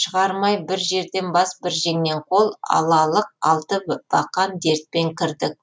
шығармай бір жерден бас бір жеңнен қол алалық алты бақан дертпен кірдік